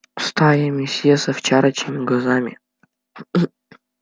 стаями все с овчарочьими глазами